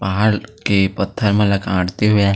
पहाड़ के पत्थर मनल कांटते हुए आई--